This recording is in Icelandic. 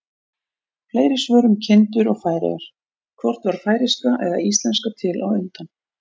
Fleiri svör um kindur og Færeyjar: Hvort varð færeyska eða íslenska til á undan?